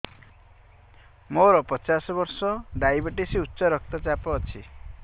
ମୋର ପଚାଶ ବର୍ଷ ଡାଏବେଟିସ ଉଚ୍ଚ ରକ୍ତ ଚାପ ଅଛି